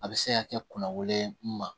A bɛ se ka kɛ kunna wololen ye n ma